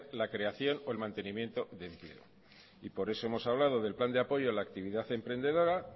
la creación o mantenimiento de empleo por eso hemos hablando del plan de apoyo a la actividad emprendedora